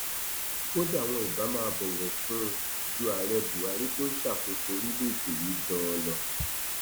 kódà wọn ibà máa bọwọ fún un ju ààrẹ buhari tó ń ṣàkóso orílẹèdè yìí ganan lọ